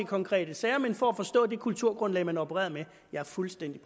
konkrete sager men for at forstå det kulturgrundlag man opererede med jeg er fuldstændig